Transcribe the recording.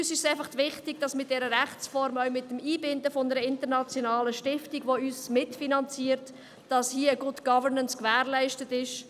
Uns ist es wichtig, dass mit dieser Rechtsform und dem Einbinden einer internationalen Stiftung, die uns mitfinanziert, eine «Good Governance» gewährleistet ist.